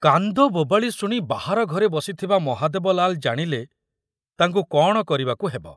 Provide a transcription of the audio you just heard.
କାନ୍ଦବୋବାଳି ଶୁଣି ବାହାର ଘରେ ବସିଥିବା ମହାଦେବ ଲାଲ ଜାଣିଲେ ତାଙ୍କୁ କଣ କରିବାକୁ ହେବ।